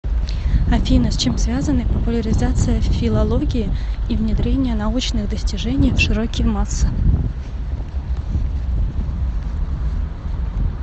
афина с чем связаны популяризация филологии и внедрение научных достижений в широкие массы